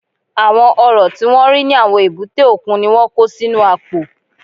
Àwọn Ọ̀rọ̀ tí wọ́n rí ní àwọn èbúté òkun ni wọ́n kó sínú àpò